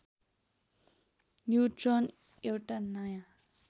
neutron एउटा नयाँ